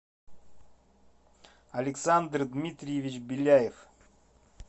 александр дмитриевич беляев